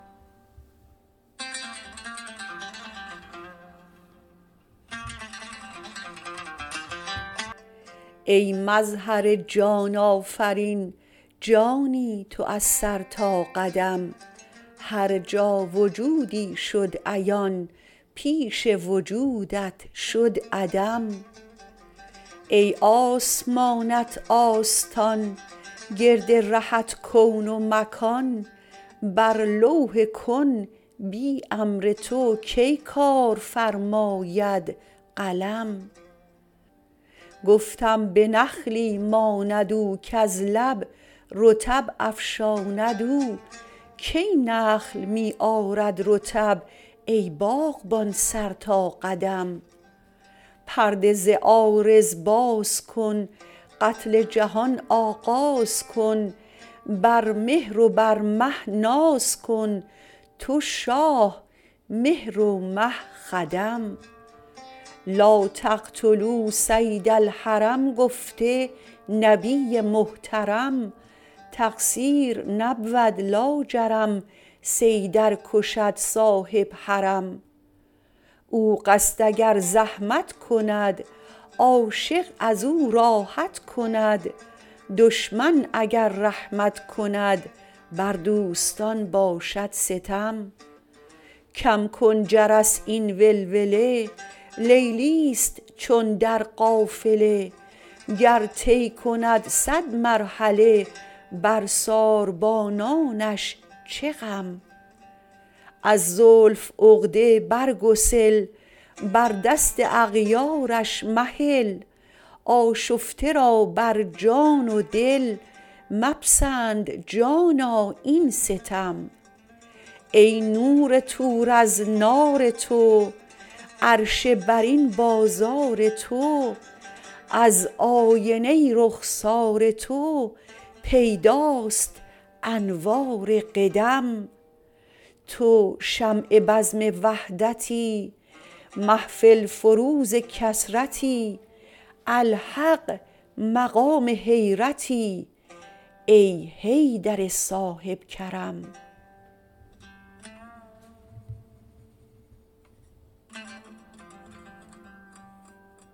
ای مظهر جان آفرین جانی تو از سر تا قدم هر جا و جودی شد عیان پیش وجودت شد عدم ای آسمانت آستان گرد رهت کون و مکان بر لوح کن بی امر تو کی کار فرماید قلم گفتم به نخلی ماند او کز لب رطب افشاند او کی نخل می آرد رطب ای باغبان سر تا قدم پرده ز عارض باز کن قتل جهان آغاز کن بر مهر و بر مه ناز کن تو شاه مهر و مه خدم لا تقتلوا صید الحرم گفته نبی محترم تقصیر نبود لاجرم صیدار کشد صاحب حرم او قصد اگر زحمت کند عاشق از او راحت کند دشمن اگر رحمت کند بر دوستان باشد ستم کم کن جرس این ولوله لیلی است چون در قافله گر طی کند صد مرحله بر ساربانانش چه غم از زلف عقده بر گسل بر دست اغیارش مهل آشفته را بر جان و دل مپسند جانا این ستم ای نور طور از نار تو عرش برین بازار تو از آینه رخسار تو پیداست انوار قدم تو شمع بزم وحدتی محفل فروز کثرتی الحق مقام حیرتی ای حیدر صاحب کرم